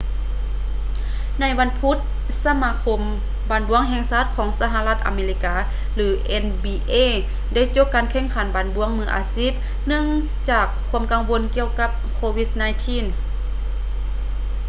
ໃນວັນພຸດ ສະມາຄົມບານບ້ວງແຫ່ງຊາດຂອງສະຫະລັດອາເມລິກາ nba ໄດ້ໂຈະການແຂ່ງຂັນບານບ້ວງມືອາຊີບ ເນື່ອງຈາກຄວາມກັງວົນກ່ຽວກັບ covid-19